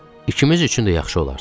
İkimiz üçün də yaxşı olardı.